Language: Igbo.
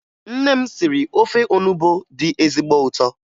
Nne m siri ofe onubo dị ezigbo ụtọ